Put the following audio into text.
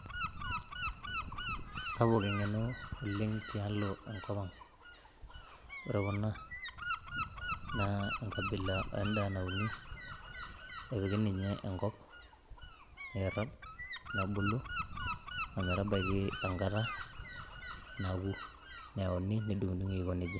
Sapuk eng'eno naleng' tialo Enkop ang', ore Kuna naa engabila endaa nauni, napiki ninye Enkop neirrag' nebulu ometabaiki Kenya enkata naokilu neyauni nedung'idung'i Aiko nejia.